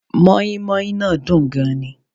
Móínmóín náà dùn gan ni